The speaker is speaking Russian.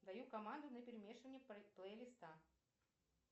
даю команду на перемешивание плейлиста